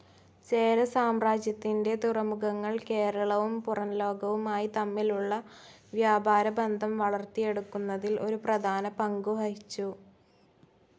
ചേര സാമ്രാജ്യത്തിൻ്റെ തുറമുഖങ്ങൾ കേരളവും പുറംലോകവുമായി തമ്മിലുള്ള വ്യാപാര ബന്ധം വളർത്തിയെടുക്കുന്നതിൽ ഒരു പ്രധാന പങ്കുവഹിച്ചു.